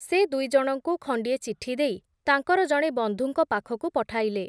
ସେ ଦୁଇଜଣଙ୍କୁ, ଖଣ୍ଡିଏ ଚିଠି ଦେଇ, ତାଙ୍କର ଜଣେ ବନ୍ଧୁଙ୍କ ପାଖକୁ ପଠାଇଲେ ।